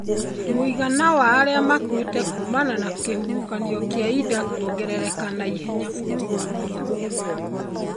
Mũigana wa arĩa makuĩte kumana na kĩhuhokanio kĩa Idai kũongerereka na ihenya bũrũri wa Mozambique.